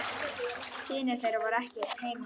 Synir þeirra voru ekki heima.